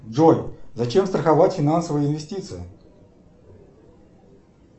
джой зачем страховать финансовые инвестиции